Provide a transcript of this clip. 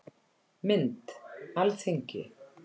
Mynd: Alþingi